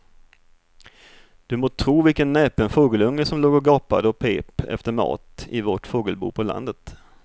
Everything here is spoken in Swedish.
Du må tro vilken näpen fågelunge som låg och gapade och pep efter mat i vårt fågelbo på landet.